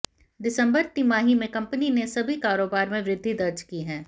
दिसंबर तिमाही में कंपनी ने सभी कारोबार में वृद्घि दर्ज की है